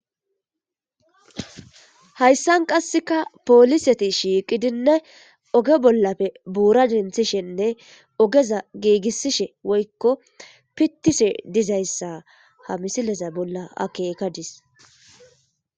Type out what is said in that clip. hayssan qasseka pooliseti shiiqidinne oge bollafe buura denthishenne ogeza giigisishe woykko pittishe dizayssa ha misileza bolla akekadis